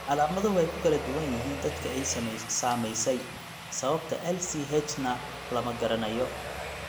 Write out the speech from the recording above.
Calaamaduhu way ku kala duwan yihiin dadka ay saamaysay, sababta LCH-na lama garanayo.